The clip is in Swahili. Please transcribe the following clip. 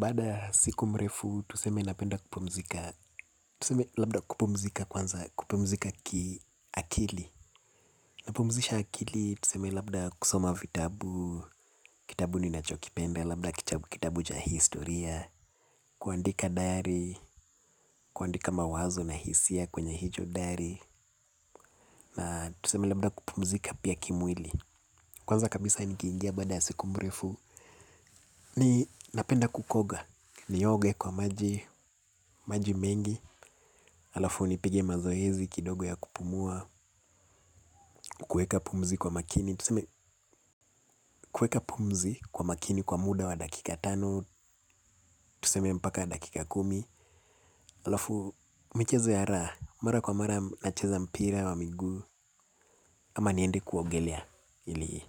Baada ya siku mrefu, tuseme napenda kupumzika, tuseme labda kupumzika kwanza kupumzika kiakili. Napumzisha akili, tuseme labda kusoma vitabu, kitabu ninacho kipenda, labda kitabu cha historia. Kuandika dayari, kuandika mawazo na hisia kwenye hicho dayari. Na tuseme labda kupumzika pia kimwili. Kwanza kabisa nikiingia baada ya siku mrefu, ninapenda kukoga. Nioge kwa maji, maji mengi. Alafu nipige mazoezi kidogo ya kupumua. Kuweka pumzi kwa makini. Kuweka pumzi kwa makini kwa muda wa dakika tano. Tuseme mpaka dakika kumi. Alafu michezo ya raha. Mara kwa mara nacheza mpira wa miguu ama niende kuogelea ili